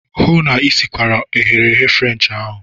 Hụụ na Ị sikwara eghereghe French ahụ!